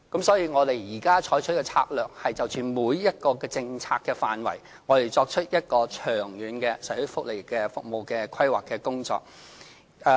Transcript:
所以，我們現在採取的策略是就着每一個政策範圍作出長遠的社會福利服務規劃。